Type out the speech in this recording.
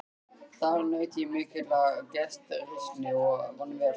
Þar naut ég mikillar gestrisni og vann vel.